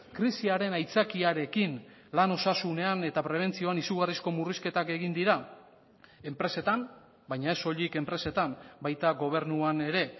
krisiaren aitzakiarekin lan osasunean eta prebentzioan izugarrizko murrizketak egin dira enpresetan baina ez soilik enpresetan baita gobernuan ere